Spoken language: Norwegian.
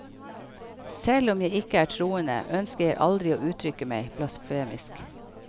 Selv om jeg ikke er troende, ønsker jeg aldri å uttrykke meg blasfemisk.